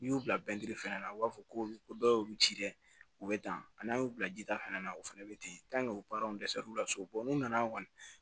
N'i y'u bila fɛnɛ la u b'a fɔ ko dɔ y'olu ci dɛ u be dan n'an y'u bila jita fɛnɛ na u fɛnɛ be ten u parant resɛruw la so n'u nana kɔni